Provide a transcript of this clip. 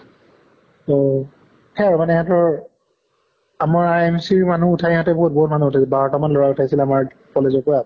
উম সেই মানে এইটোই আমাৰ MC ৰ মানুহ উঠাই ইহঁতে বহুত বহুত মানুহ বাৰ টা মান লʼৰা উঠাইছিল আমাৰ college ৰ পৰা